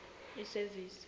isevisi